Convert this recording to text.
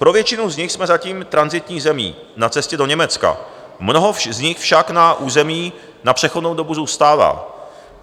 Pro většinu z nich jsme zatím tranzitní zemí na cestě do Německa, mnoho z nich však na území na přechodnou dobu zůstává.